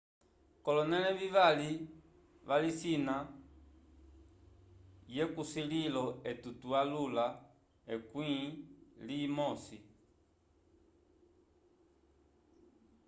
kolonele vivali valisina kesulilo etu twa yula ekwi li mosi